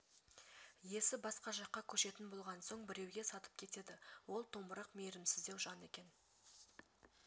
иесі басқа жаққа көшетін болған соң біреуге сатып кетеді ол томырық мейірімсіздеу жан екен